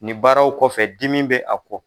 Nin baaraw kɔfɛ dimi bɛ a kɔ.